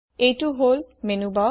এইটো হল মেনুবাৰ